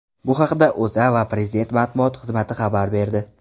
Bu haqda O‘zA va Prezident matbuot xizmati xabar berdi.